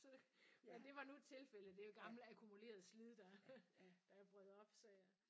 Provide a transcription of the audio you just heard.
Så men det var nu et tilfælde det er jo gammel akkumuleret slid der der brød på så ja